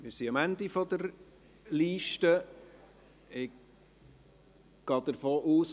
Wir sind am Ende der Liste angelangt.